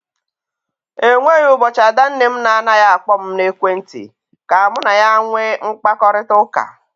E nweghi ụbọchị ada nne m na anaghị akpọ m n'ekwenti ka mụ na ya nwee mkparịkọtaụka.